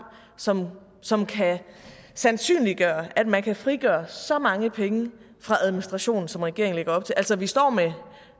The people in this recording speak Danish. som som kan sandsynliggøre at man kan frigøre så mange penge fra administration som regeringen lægger op til altså vi står med